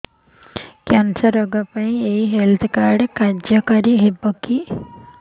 cancer ରୋଗ ପାଇଁ ଏଇ ହେଲ୍ଥ କାର୍ଡ କାର୍ଯ୍ୟକାରି ହେବ କି